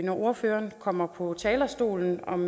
når ordføreren kommer på talerstolen om